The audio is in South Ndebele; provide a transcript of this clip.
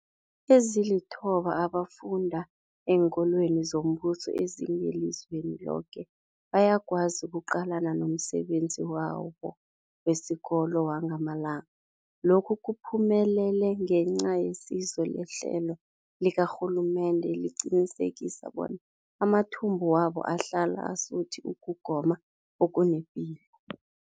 Ezilithoba abafunda eenkolweni zombuso ezingelizweni loke bayakwazi ukuqalana nomsebenzi wabo wesikolo wangamalanga. Lokhu kuphumelele ngenca yesizo lehlelo likarhulumende eliqinisekisa bona amathumbu wabo ahlala asuthi ukugoma okunepilo.